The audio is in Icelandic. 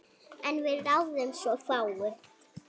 En við ráðum svo fáu.